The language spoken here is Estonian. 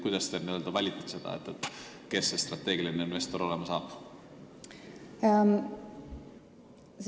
Kuidas te valite, kes need strateegilised investorid olema saavad?